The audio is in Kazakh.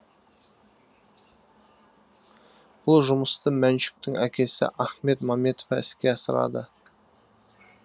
бұл жұмысты мәншүктің әкесі ахмет маметов іске асырады